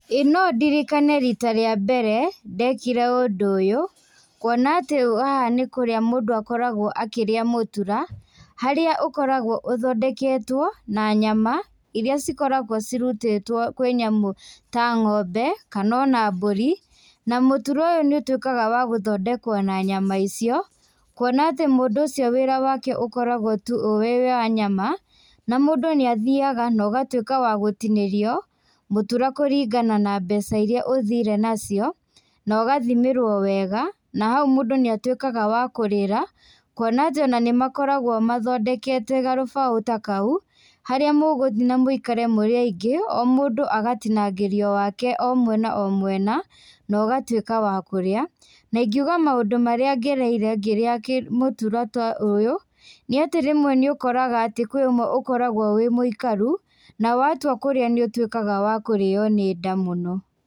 Ĩĩ nondirikane rita rĩa mbere , ndekire ũndũ ũyũ, kuona atĩ haha mũndũ nĩ kũrĩa akoragwo akĩrĩa mũtura, harĩa ũkoragwo ithondeketwo, na nyama, iria cikoragwo kwĩ nyamũ ta ng'ombe kanona mbũri, mũtura ũyũ nĩũtwĩkaga wa gũthondekwo na nyama icio, kuona atĩ mũndũ ũcio wĩra wake ũkoragwo tu wĩ wa nyama, na mũndũ nĩathiaga, no ũgatwĩka wagũtinĩrio, mũtura kũringana na mbeca iria ũthire nacio, nogathimĩrwo wega, nahau mũndũ nĩatwĩkaga wa kũrĩra kuona atĩ ona nĩmakoragwo mathondekete garũbaũ ta kau, harĩa mũgũthiĩ na mũikare mũrĩ aingi, o mũndũ agatinangĩrio wake o mwena o mwena, nogatwĩka wa kũrĩa, naingiuga maũndũ marĩa ngereire ngĩrĩa kĩ mũtura ta ũyũ nĩatĩ rĩmwe nĩũkoraga atĩ rimwe nĩũkoragwo wĩ mũikaru, na watua kũrĩa nĩũtwĩkaga wa kũrĩo nĩ nda mũno.